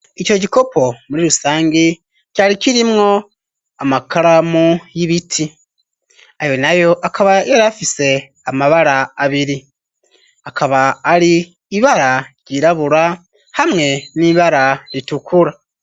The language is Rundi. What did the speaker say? Ico gikopo muri rusangi cari kirimwo amakaramu y'ibiti ayo nayo akaba yarafise amabara abiri akaba ari ibara ryirabura hamwe n'ibara ritukura.